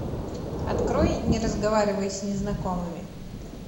открой не разговаривай с незнакомыми